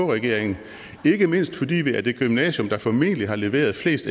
regeringen ikke mindst fordi vi er det gymnasium der formentlig har leveret flest